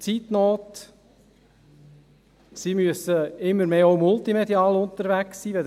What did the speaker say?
Zeitnot: Sie müssen immer mehr auch multimedial unterwegs sein.